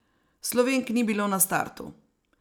Slovenk ni bilo na startu.